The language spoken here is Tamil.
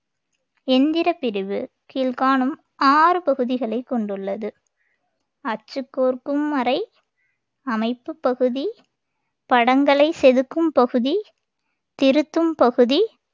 எந்திரப் பிரிவு கீழ்காணும் ஆறு பகுதிகளைக் கொண்டுள்ளது அச்சுக் கோர்க்கும் அறை அமைப்புப் பகுதி படங்களைச் செதுக்கும் பகுதி திருத்தும் பகுதி